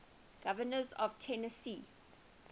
governors of tennessee